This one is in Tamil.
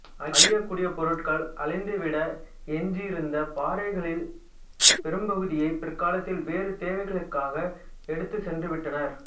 அழியக்கூடிய பொருட்கள் அழிந்துவிட எஞ்சியிருந்த பாறைகளிற் பெரும்பகுதியை பிற்காலத்தில் வேறு தேவைகளுக்காக எடுத்துச்சென்றுவிட்டனர்